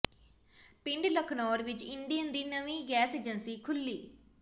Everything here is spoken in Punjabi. ਪਿੰਡ ਲਖਨੌਰ ਵਿੱਚ ਇੰਡੇਨ ਦੀ ਨਵੀਂ ਗੈਸ ਏਜੰਸੀ ਖੁੱਲ੍ਹੀ